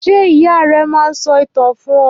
Ṣé ìyá rẹ máa ń sọ ìtàn fún ọ?